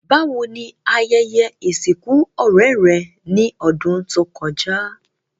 Bàwoni ayẹyẹ ìsìnkù ọ̀rẹ́ rẹ́ ni odùn to kojá?